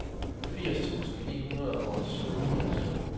firs tusind ni hundrede og syvogfirs